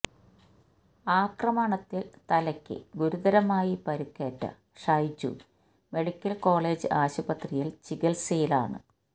ആക്രമണത്തില് തലക്ക് ഗുരുതരമായി പരിക്കേറ്റ ഷൈജു മെഡിക്കല് കോളജ് ആശുപത്രിയില് ചികിത്സയിലാണ്